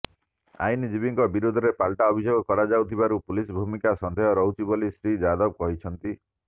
ଆଇନଜୀବୀଙ୍କ ବିରୋଧରେ ପାଲଟା ଅଭିଯୋଗ କରାଯାଉଥିବାରୁ ପୁଲିସର ଭୂମିକା ସନ୍ଦେହରେ ରହୁଛି ବୋଲି ଶ୍ରୀ ଯାଦବ ଅଭିଯୋଗ କରିଛନ୍ତି